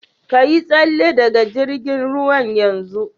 Ka Yi salle daga jirgin ruwan yanzun.